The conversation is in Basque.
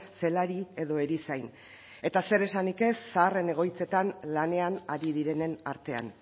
zelari edo erizain eta zer esanik ez zaharren egoitzetan lanean ari direnen artean